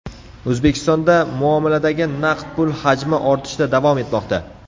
O‘zbekistonda muomaladagi naqd pul hajmi ortishda davom etmoqda.